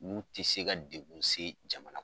N'u ti se ka dekun se jamana